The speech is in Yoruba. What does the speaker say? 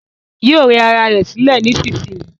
Yóò rẹ ra ẹ̀ sílẹ̀ nísinsìnyí